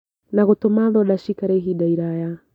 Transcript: Na gũtũma thonda ciikare ihinda iraya